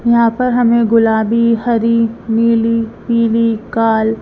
यहां पर हमें गुलाबी हरी नीली पीली काल--